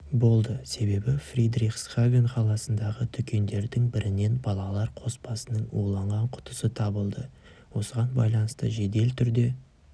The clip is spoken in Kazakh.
болды себебі фридрихсхафен қаласындағы дүкендердің бірінен балалар қоспасының уланған құтысы табылды осыған байланысты жедел түрде